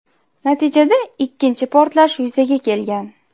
Natijada ikkinchi portlash yuzaga kelgan.